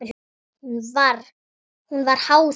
Hún var háð þeim.